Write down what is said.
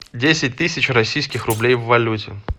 десять тысяч российских рублей в валюте